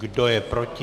Kdo je proti?